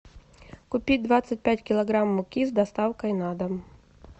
купи двадцать пять килограмм муки с доставкой на дом